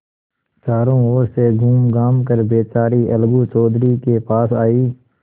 चारों ओर से घूमघाम कर बेचारी अलगू चौधरी के पास आयी